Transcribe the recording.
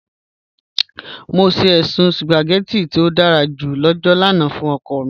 Mọ sẹ èṣùn spaghetti tí ó dàrá jù lọ́jọ́ lána fún ọ̀kọ̀ mi